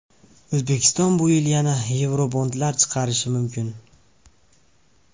O‘zbekiston bu yil yana yevrobondlar chiqarishi mumkin.